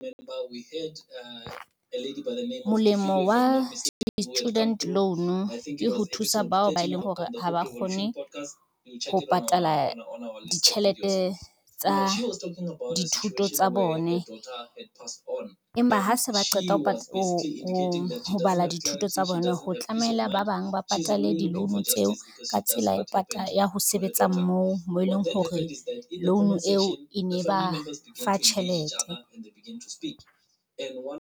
Molemo wa student loan ke ho thusa bao ba eleng hore ha ba kgone ho patala ditjhelete tsa dithuto tsa bone. Empa ha se ba qeta ho bala dithuto tsa bona, ho tlameile ba bang ba patale di-loan tseo ka tsela ya ho sebetsa moo, moo eleng hore loan eo e ne ba fa tjhelete.